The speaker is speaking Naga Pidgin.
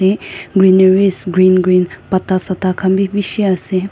jatte greenaris green green patta sakta khan bhi bisi ase.